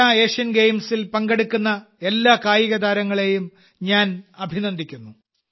para Asian ഗെയിംസിൽ പങ്കെടുക്കുന്ന എല്ലാ കായികതാരങ്ങളെയും ഞാൻ അഭിനന്ദിക്കുന്നു